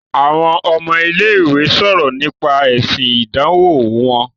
Àwọn ọmọ ilé-ìwé ń sọ̀rọ̀ nípa èsì ìdánwọ̀ wọn.